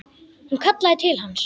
Hún kallaði til hans.